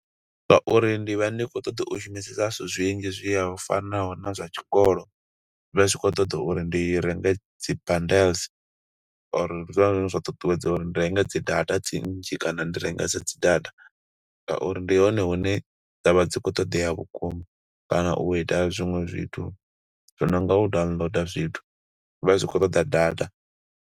Nga uri ndi vha ndi khou ṱoḓa u shumisesa zwithu zwinzhi zwi ya ho u fanaho na zwa tshikolo. Zwi vha zwi khou ṱoḓa uri ndi renge bundles or ndi zwone zwine zwa ṱuṱuwedza uri ndi renge dzi data dzi nnzhi kana ndi rengese dzi data. Nga uri ndi hone hune dza vha dzi khou ṱoḓea vhukuma, kana u ita zwiṅwe zwithu zwi nonga u downloader zwithu, zwi vha zwi khou ṱoḓa data.